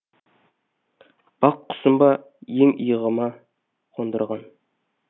бақ құсым ба ең иығыма қондырған